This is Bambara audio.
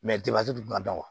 du tuma dɔn